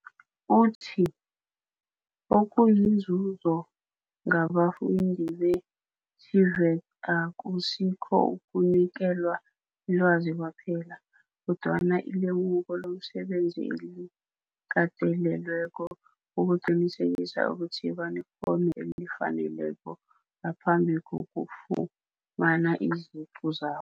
Uthi, Okuyinzuzo ngabafundi be-TVET akusikho ukunikelwa ilwazi kwaphela, kodwana ilemuko lomsebenzi elikatelelweko ukuqinisekisa ukuthi banekghono elifaneleko ngaphambi kokufumana iziqu zabo.